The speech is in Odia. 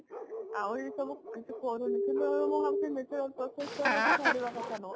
ଆଉ ଏସବୁ କିଛି କରୁନି କିନ୍ତୁ ମୁଁ ଭାବୁଛି natural process କୁ ଛାଡିବା କଥା ନୁହଁ